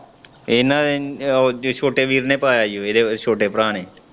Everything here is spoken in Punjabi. ਇਨੇ ਉਹ ਛੋਟੇ ਵੀਰ ਨੇ ਪਾਇਆ ਏਦੇ ਛੋਟੇ ਭਰਾ ਨੇ।